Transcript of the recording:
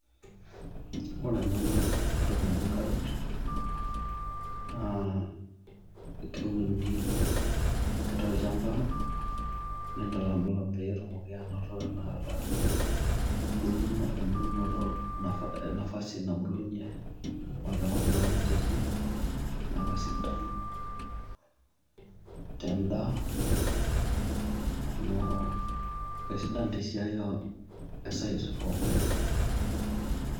Ore ena naa entoki naji carrot naa keuni ake toolchamba. Nintalamlam petumoki anoto embulumoto nafasi nabulunyie amu atu enkop naa ninche etii naa kisidai tendaa amu kesidan tesiai e sight oonkonyek.